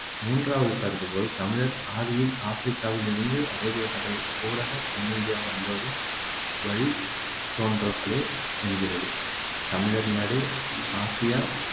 மூன்றாவது கருதுகோள் தமிழர் ஆதியில் ஆப்பிரிக்காவில் இருந்து அரேபிய கடல் ஊடாகத் தென்னிந்தியா வந்தோரின் வழித்தோன்றல்களே என்கிறது தமிழர் நடு ஆசியா